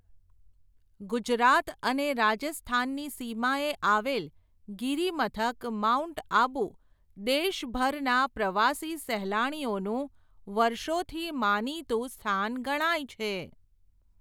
ગુજરાત અને રાજસ્થાનની સીમાએ આવેલ, ગીરીમથક માઉન્ટ આબુ દેશભરના પ્રવાસી સહેલાણીઓનું, વર્ષોથી માનીતું સ્થાન ગણાય છે.